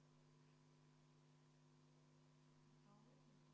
Repinski teatas, et ta ei saa praegu süsteemi sisse.